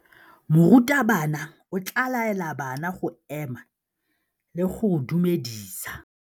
Morutabana o tla laela bana go ema le go go dumedisa.